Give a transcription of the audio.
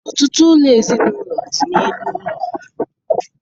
Ọtụtụ ụlọ ezinaụlọ dị n'elu ụlọ.